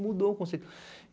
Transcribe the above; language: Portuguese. Mudou o conceito.